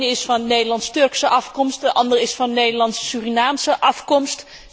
De ene is van Nederlands Turkse afkomst, de ander is van Nederlands Surinaamse afkomst.